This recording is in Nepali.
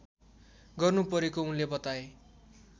गर्नुपरेको उनले बताए